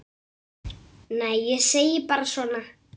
Nei, ég segi bara svona.